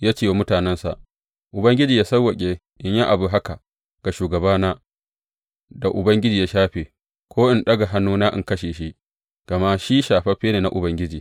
Ya ce wa mutanensa, Ubangiji yă sawwaƙe in yi abu haka ga shugabana da Ubangiji ya shafe, ko in ɗaga hannuna in kashe shi, gama shi shafaffe ne na Ubangiji.